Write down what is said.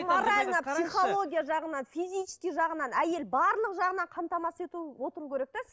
морально психология жағынан физический жағынан әйел барлық жағынан қамтамасыз етіп отыру керек те